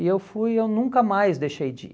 e eu fui, eu nunca mais deixei de ir.